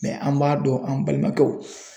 an m'a dɔn an balimakɛw